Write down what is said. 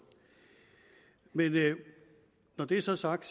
men når det så er sagt